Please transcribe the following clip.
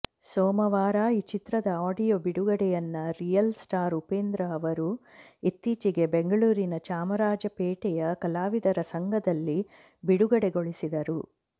ಸೋಮವಾರ ಈ ಚಿತ್ರದ ಆಡಿಯೋ ಬಿಡುಗಡೆಯನ್ನ ರಿಯಲ್ ಸ್ಟಾರ್ ಉಪೇಂದ್ರ ಅವರು ಇತ್ತೀಚೆಗೆ ಬೆಂಗಳೂರಿನ ಚಾಮರಾಜಪೇಟೆಯ ಕಲಾವಿದರ ಸಂಘದಲ್ಲಿ ಬಿಡುಗಡೆಗೊಳಿಸಿದರು